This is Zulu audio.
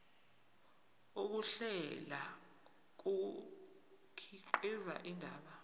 ukuhlela kukhiqiza indaba